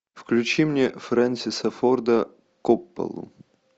включи мне фрэнсиса форда копполу